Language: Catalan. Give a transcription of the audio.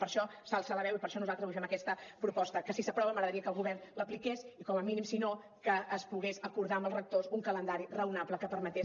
per això s’alça la veu i per això nosaltres avui fem aquesta proposta que si s’aprova m’agradaria que el govern l’apliqués i com a mínim si no que es pogués acordar amb els rectors un calendari raonable que permetés